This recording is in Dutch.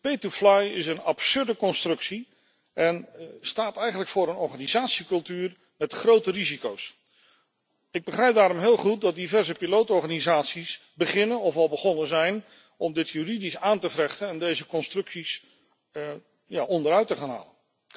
Pay to fly is een absurde constructie en staat eigenlijk voor een organisatiecultuur met grote risico's. Ik begrijp daarom heel goed dat diverse pilotenorganisaties beginnen, of al begonnen zijn, om dit juridisch aan te vechten en deze constructies onderuit te halen.